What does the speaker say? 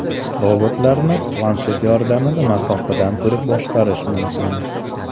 Robotlarni planshet yordamida masofadan turib boshqarish mumkin.